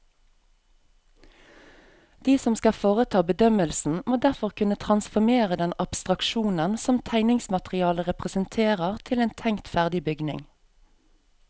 De som skal foreta bedømmelsen, må derfor kunne transformere den abstraksjonen som tegningsmaterialet representerer til en tenkt ferdig bygning.